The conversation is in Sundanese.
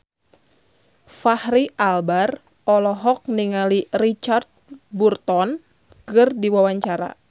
Fachri Albar olohok ningali Richard Burton keur diwawancara